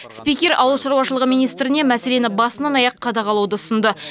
спикер ауыл шаруашылығы министріне мәселені басынан аяқ қадағалауды ұсынды